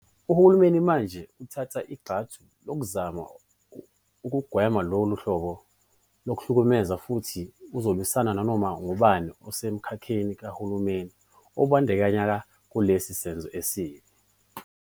Uhulumeni manje uthatha igxathu lokuzama ukugwema lolu hlobo lokuhlukumeza futhi uzolwisana nanoma ngubani osemkhakheni kahulumeni obandakanyeka kulesi senzo esibi.